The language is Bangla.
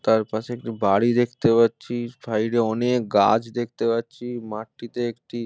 তার পাশে একটি বাড়ি দেখতে পাচ্ছিস সাইডে অনেক গাছ দেখতে পাচ্ছি মাটিতে একটি--